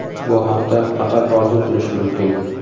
Bu haqda faqat orzu qilish mumkin.